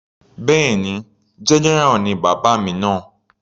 Bẹ́ẹ̀ni, general ni bàbá mi náà.